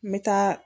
N bɛ taa